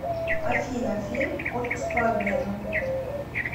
афина фильм отпуск по обмену